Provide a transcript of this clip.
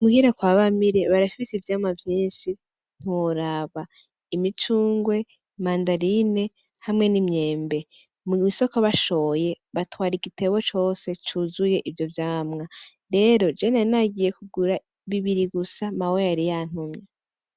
Muhira kwa Bamire baragise ivyama vyinshi ntiworaba. Imicunrwe, mandarina hamwe n’imyembe. Mw’isoko bashoye batwara igitego cose cuzuye ivyo vyamwa .rero jewe, nari nagiye kugura bibiri gusa mawe yari yantumye.